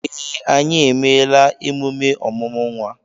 Ee, anyị emeela emume ọmụmụ nwa.